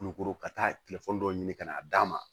Kulukoro ka taa dɔ ɲini ka na d'a ma